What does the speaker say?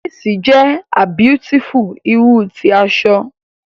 Lace is abeautiful kind of fabric